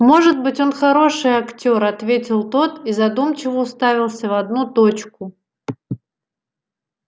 может быть он хороший актёр ответил тот и задумчиво уставился в одну точку